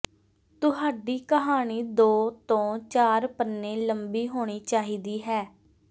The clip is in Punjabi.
ਤੁਹਾਡੀ ਕਹਾਣੀ ਦੋ ਤੋਂ ਚਾਰ ਪੰਨੇ ਲੰਬੀ ਹੋਣੀ ਚਾਹੀਦੀ ਹੈ